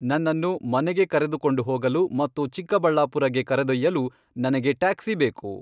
ನನ್ನನ್ನು ಮನೆಗೆ ಕರೆದುಕೊಂಡು ಹೋಗಲು ಮತ್ತು ಚಿಕ್ಕಬಳ್ಳಾಪುರಗೆ ಕರೆದೊಯ್ಯಲು ನನಗೆ ಟ್ಯಾಕ್ಸಿ ಬೇಕು